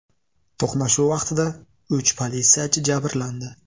To‘qnashuv vaqtida uch politsiyachi jabrlandi.